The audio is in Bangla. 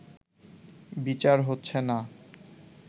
বিচার হচ্ছে না